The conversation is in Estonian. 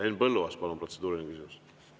Henn Põlluaas, palun, protseduuriline küsimus!